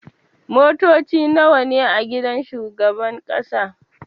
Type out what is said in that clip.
Motoci nawa ne a gidan shugaban ƙasa?